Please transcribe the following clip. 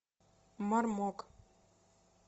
мармок